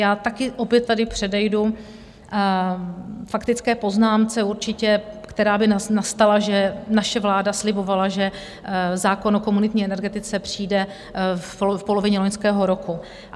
Já taky opět tady předejdu faktické poznámce určitě, která by nastala, že naše vláda slibovala, že zákon o komunitní energetice přijde v polovině loňského roku.